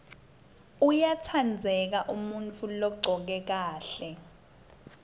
uyatsandzeka umuntfu logcoke kahle